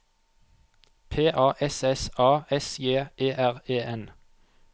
P A S S A S J E R E N